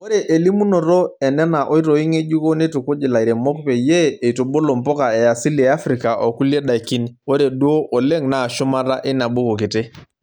Ore elimunoto enena oitoi ng'ejuko neitukuj ilairemok peyie eitubulu mpuka easili eafrika oo kulie daikin. Ore duo oleng naa shumata eina buku kiti.